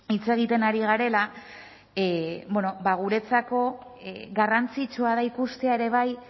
hitz egiten ari garela bueno ba guretzako garrantzitsua da ikustea ere bai